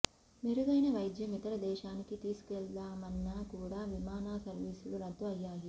మెరుగైన వైద్యం ఇతర దేశానికి తీసుకెళ్దామన్నా కూడా విమానా సర్వీసులు రద్దు అయ్యాయి